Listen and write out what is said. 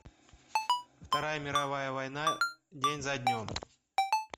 вторая мировая война день за днем